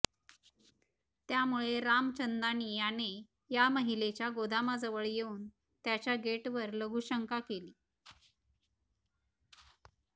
त्यामुळे रामचंदानी याने या महिलेच्या गोदामाजवळ येऊन त्याच्या गेटवर लघुशंका केली